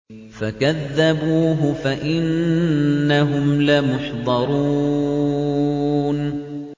فَكَذَّبُوهُ فَإِنَّهُمْ لَمُحْضَرُونَ